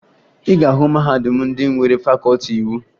Ị ga-ahụ mahadum ndị nwere fakọọti iwu